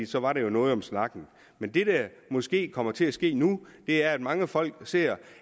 så var der jo noget om snakken men det der måske kommer til at ske nu er at mange folk ser